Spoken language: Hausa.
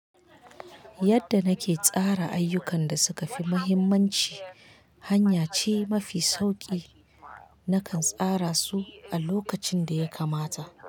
Yadda nake tsara ayyukan da suka fi mahimmanci, hanya ce mafi sauƙi nakan tsara su a lokacin da ya kamata.